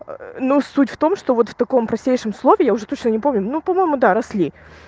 но суть в том что вот в таком простейшим в слове я уже точно не помню но по-моему да росли